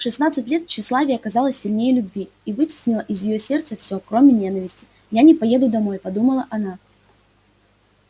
в шестнадцать лет тщеславие оказалось сильнее любви и вытеснило из её сердца все кроме ненависти я не поеду домой подумала она